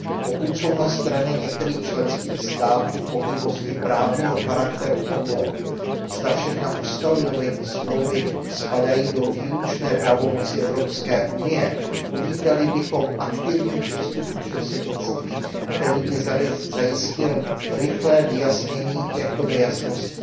Pokud jsou na straně některých členských států pochybnosti právního charakteru o tom, zda všechna ustanovení smlouvy spadají do výlučné pravomoci Evropské unie, uvítali bychom aktivní přistup předsednictví, který by zajistil rychlé vyjasnění těchto nejasností